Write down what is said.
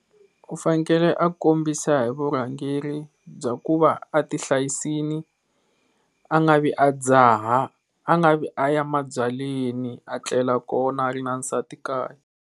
U fanekele a kombisa hi vurhangeri bya ku va a ti hlayisile a nga vi a dzaha a nga vi aya mabyaleni a tlela kona a ri na nsati kaya.